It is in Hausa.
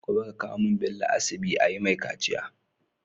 Gobe ka kawo mun Bello asibi ayi mai kaciya